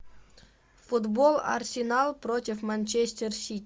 футбол арсенал против манчестер сити